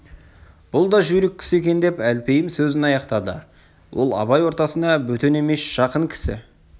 бұл да жүйрік кісі екен деп әлпейім сөзін аяқтады ол абай ортасына бөтен емес жақын кісі